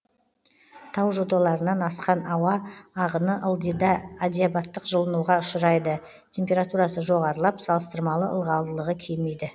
тау жоталарынан асқан ауа ағыны ылдида адиабаттық жылынуға ұшырайды температурасы жоғарылап салыстырмалы ылғалдылығы кемиді